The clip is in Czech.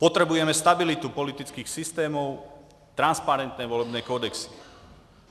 Potřebujeme stabilitu politických systémů, transparentní volební kodexy.